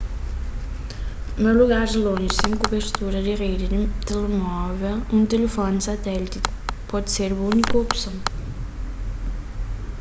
na lugaris lonji sen kubertura di redi di telemóvel un tilifoni satéliti pode ser bu úniku opson